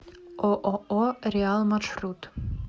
ооо реал маршрут